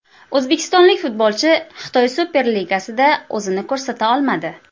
O‘zbekistonlik futbolchi Xitoy Super Ligasida o‘zini ko‘rsata olmadi.